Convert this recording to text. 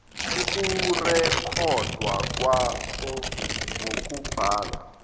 ukurekhodwa kwaso ngokubhala